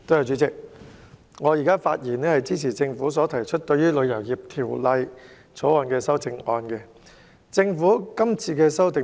主席，我發言支持政府就《旅遊業條例草案》提出的修正案。